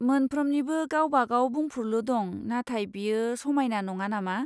मोनफ्रोमनिबो गावबा गाव बुंफुरलु दं, नाथाय बेयो समायना नङा नामा?